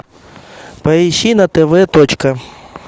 поищи на тв точка